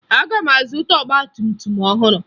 Aga m azụta ọgbatumtum ọhụrụ